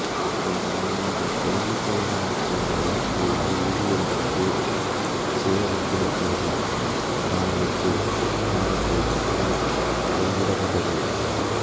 இவரது நினைவாக கொழும்பு கொட்டாஞ்சேனையில் உள்ள வீதி ஒன்றிற்கு சேர் இரத்தினசோதி சரவணமுத்து மாவத்தை எனப் பெயரிடப்பட்டது